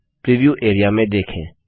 preview area में देखें